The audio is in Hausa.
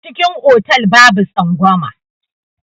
Cikin otal babu tsangwama.